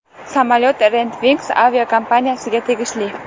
Samolyot Red Wings aviakompaniyasiga tegishli.